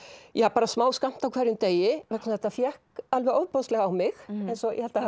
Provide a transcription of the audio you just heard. bara smáskammt á hverjum degi vegna þetta fékk alveg ofboðslega á mig eins og ég held að